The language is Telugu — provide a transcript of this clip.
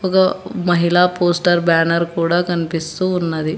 మహిళా పోస్టర్ బ్యానర్ కూడా కనిపిస్తూ ఉన్నది.